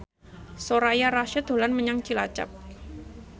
Soraya Rasyid dolan menyang Cilacap